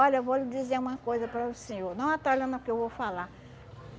Olha, eu vou lhe dizer uma coisa para o senhor, não atalhando ao que eu vou falar.